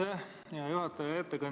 Aitäh, hea juhataja!